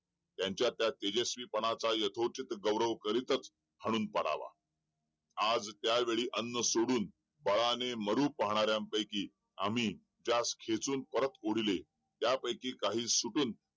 त्यांच्या त्या तेजस्वी पणाचा यथोचित गौरव करीतच हणून पाडावा आज त्या वेळेस अन्न सोडून बळाने मारू पाहण्याऱ्यांन पैकी आम्ही त्यास घेचून परत ओढले त्यापैकी काही सुडून